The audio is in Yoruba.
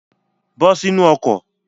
Bọ́ sínu ọkọ̀.